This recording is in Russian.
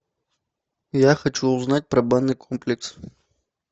я хочу узнать про банный комплекс